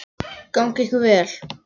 Gangi ykkur vel.